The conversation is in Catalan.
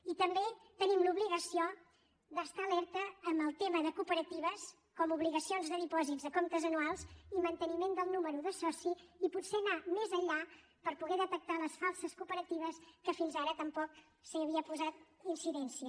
i també tenim l’obligació d’estar alerta amb el tema de cooperatives com obligacions de dipòsits a comptes anuals i manteniment del número de soci i potser anar més enllà per poder detectar les falses cooperatives que fins ara tampoc s’hi havia posat incidència